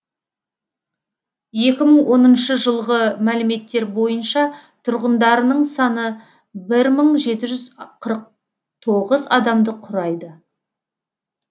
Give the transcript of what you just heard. екі мың оныншы жылғы мәліметтер бойынша тұрғындарының саны бір мың жеті жүз қырық тоғыз адамды құрайды